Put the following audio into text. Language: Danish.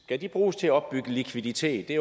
skal de bruges til at opbygge likviditet det